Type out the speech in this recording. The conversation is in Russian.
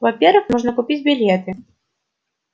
во-первых можно купить билеты